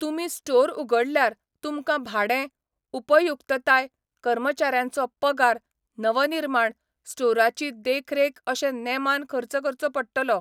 तुमी स्टोर उगडल्यार, तुमकां भाडें, उपयुक्तताय, कर्मचाऱ्यांचो पगार, नवनिर्माण, स्टोराची देखरेख अशे नेमान खर्च करचो पडटलो.